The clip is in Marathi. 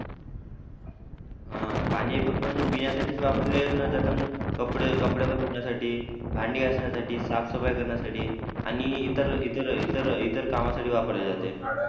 हा पाणी फक्त म्हणजे पिण्यासाठीच वापरले न जाता म्हणजे कपडे पण धुण्यासाठी भांडी धुण्यासाठी साफसफाई करण्यासाठी आणि इतर इतर इतर कामासाठी वापरले जाते